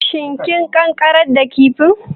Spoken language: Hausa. Shin kin ƙanƙarar da kifin?